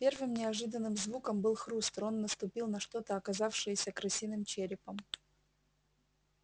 первым неожиданным звуком был хруст рон наступил на что-то оказавшееся крысиным черепом